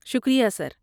شکریہ سر۔